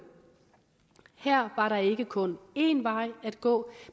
her var der ikke kun en vej at gå